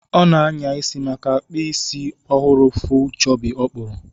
Ọ na-anya isi maka kp isi ọhụrụ full chobby ọ kpuru